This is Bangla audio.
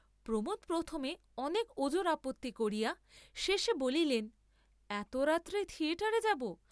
প্রমোদ প্রথমে অনেক ওজর আপত্তি করিয়া শেষে বলিলেন এত রাত্রে থিয়েটারে যাব?